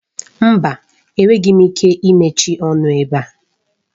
Mba! Enweghị m ike imechi ọnụ ebe a